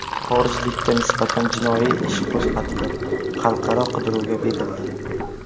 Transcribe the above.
Xorijlikka nisbatan jinoyat ishi qo‘zg‘atilib, xalqaro qidiruvga berildi.